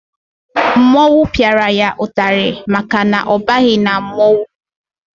Mmọnwụ piara ya itari maka na ọ baghi na mmọnwụ